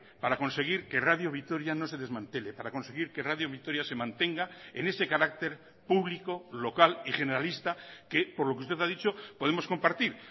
para conseguir que radio vitoria no se desmantele para conseguir que radio vitoria se mantenga en ese carácter público local y generalista que por lo que usted ha dicho podemos compartir